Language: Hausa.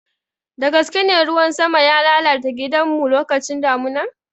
Dagaskene, ruwan sama ya lalata gidanmu lokacin damuna.